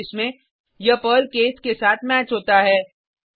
पहले केस में यह पर्ल केस के साथ मैच होता है